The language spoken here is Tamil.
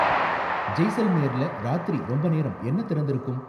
ஜெய்சல்மேர்ல ராத்திரி ரொம்ப நேரம் என்ன திறந்திருக்கும்?